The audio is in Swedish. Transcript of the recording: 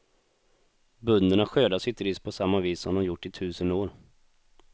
Bönderna skördar sitt ris på samma vis som de gjort i tusen år.